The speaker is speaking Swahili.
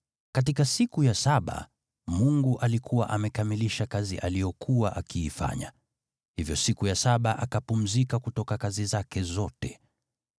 Katika siku ya saba Mungu alikuwa amekamilisha kazi aliyokuwa akiifanya, hivyo siku ya saba akapumzika kutoka kazi zake zote.